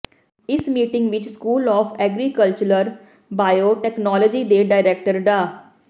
ਇਸ ਮੀਟਿੰਗ ਵਿੱਚ school of agricultural bio technology ਦੇ ਡਾਇਰੈਕਟਰ ਡਾ